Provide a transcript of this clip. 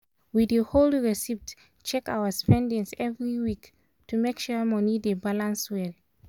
we dey hold receipts check our spendings every week to make sure money dey balance well.